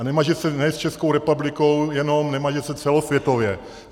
A nemaže se ne s Českou republikou jenom, nemaže se celosvětově.